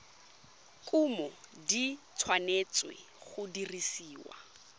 kumo di tshwanetse go dirisiwa